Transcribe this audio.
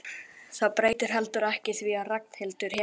Það breytir heldur ekki því að Ragnhildur hefur